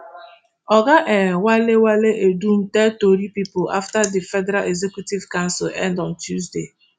oga um wale wale edun tell tori pipo afta di federal executive council end on tuesday